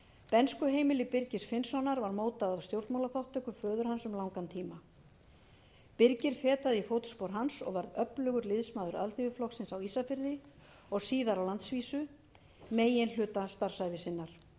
bernskuheimili birgis finnssonar var mótað af stjórnmálaþátttöku föður hans um langan tíma birgir fetaði í fótspor hans og var öflugur liðsmaður alþýðuflokksins á ísafirði og síðar á landsvísu meginhluta starfsævi sinnar